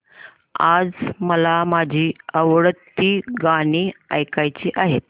आज मला माझी आवडती गाणी ऐकायची आहेत